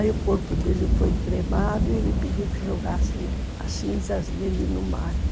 Aí o corpo dele foi cremado e ele pediu que jogasse as cinzas dele no mar.